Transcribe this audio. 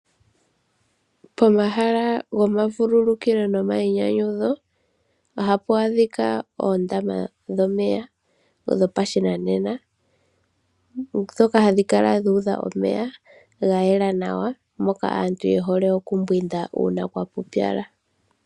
Pomahala gomavululukilo nogomayinyanyudho ohapu adhika oondama dhomeya dhopashinanena ndhoka hadhi kala dhuudha omeya ga yela nawa mono aantu yehole okumbwinda uuna kwapupyala.